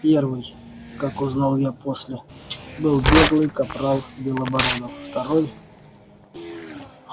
первый как узнал я после был беглый капрал белобородов второй